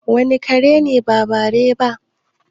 wane kare ne ba bare ba?